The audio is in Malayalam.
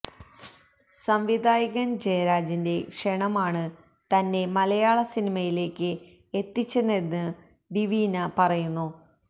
സംവിധായകന് ജയരാജിന്റെ ക്ഷണമാണ് തന്നെ മലയാള സിനിമയിലേക്ക് എത്തിച്ചതെന്ന് ഡിവീന പറയുന്നു